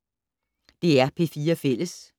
DR P4 Fælles